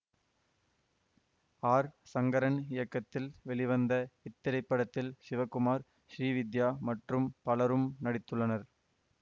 R Sankaran இயக்கத்தில் வெளிவந்த இத்திரைப்படத்தில் சிவகுமார் ஸ்ரீவித்யா மற்றும் பலரும் நடித்துள்ளனர்